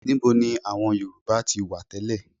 Níbo ni àwọn Yorùbá ti wá tẹ́lẹ̀?